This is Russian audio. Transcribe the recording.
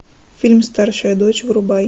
фильм старшая дочь врубай